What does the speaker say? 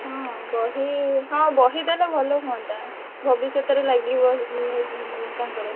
ହୁଁ ବହି ହଁ ବହି ଦେଲେ ଭଲ ହୁଅନ୍ତା। ଭବିଷ୍ୟତରେ ଲାଗିବ ଉ ତାଙ୍କର।